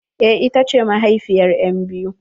Eh ita ce mahaifiyar enbiyu.